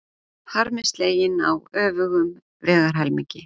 Harmi sleginn á öfugum vegarhelmingi